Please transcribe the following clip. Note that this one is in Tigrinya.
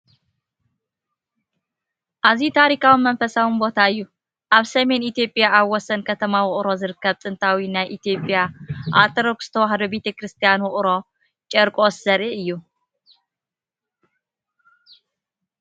ኣዝዩ ታሪኻውን መንፈሳውን ቦታ እዩ! ኣብ ሰሜን ኢትዮጵያ ኣብ ወሰን ከተማ ውቕሮ ዝርከብ ጥንታዊ ናይ ኢትዮጵያ ኦርቶዶክስ ተዋህዶ ቤተክርስትያን ውቕሮ ቺርቆስ ዘርኢ እዩ።